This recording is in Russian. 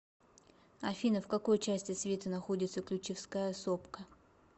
афина в какой части света находится ключевская сопка